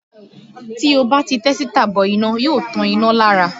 Tí ó bá ti tẹ́sítà bọ iná yóò tan iná lára